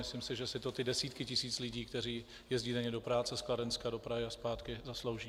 Myslím si, že si to ty desítky tisíc lidí, které jezdí denně do práce z Kladenska do Prahy a zpátky, zaslouží.